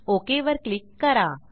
okay वर click करा